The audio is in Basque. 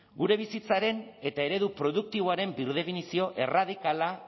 gure bizitzaren eta eredu produktiboaren birdefinizio erradikala